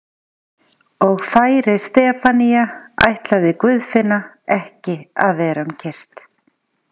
Og færi Stefanía ætlaði Guðfinna ekki vera um kyrrt.